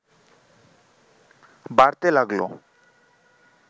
বাড়তে লাগল